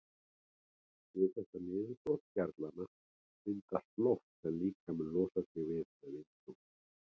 Við þetta niðurbrot gerlanna myndast loft sem líkaminn losar sig við með vindgangi.